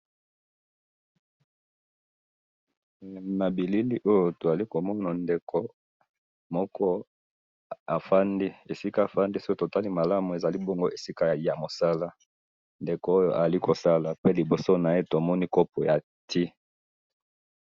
na bilili oyo tozali komana ndeko moko afandi esika afandi soki totali malamu ezali ebongo esika ya mosala, ndeko oyo azali kosala pe liboso naye tomoni copo ya ti,